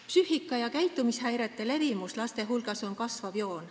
Psüühika- ja käitumishäirete levimus laste hulgas on kasvav.